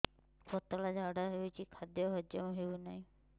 ପତଳା ଝାଡା ହେଉଛି ଖାଦ୍ୟ ହଜମ ହେଉନାହିଁ